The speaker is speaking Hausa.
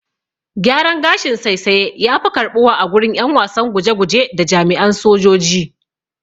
Gyaran gashin saisaye yafi karɓuwa agurin ƴan wasan guje guje da jami'an sojoji.